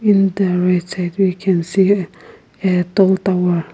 in the right side we can see uh a tall tower.